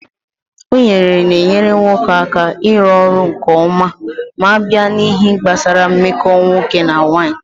Unere na-enyere nwoke aka iru ọrụ nkeọma m'abịa n'ihe gbasaranna mmeko nwoke na nwanyị.